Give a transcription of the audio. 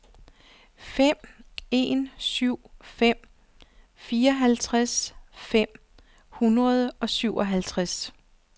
fem en syv fem fireoghalvtreds fem hundrede og syvoghalvtreds